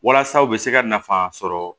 Walasa u bɛ se ka nafa sɔrɔ